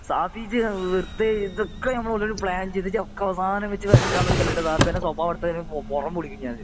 ഷാഫി ഇജ്ജ് വെറുതെ ഇതൊക്കെ നമ്മള് ഓരോരോ പ്ലാൻ ചെയ്തിട്ട് ഇജ്ജ് ഒക്കെ അവസാനം വെച്ചിട്ട് വരയ്ക്കാന് നിക്കല്ല ഷാഫി ഇന്റെ സ്വഭാവം എടുത്താല് പുറം പൊളിക്കും ഞാന്